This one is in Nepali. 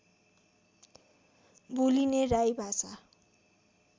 बोलिने राई भाषा